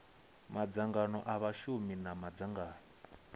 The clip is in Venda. madzangano a vhashumi na madzangano